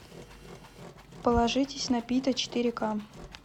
положитесь на пита четыре ка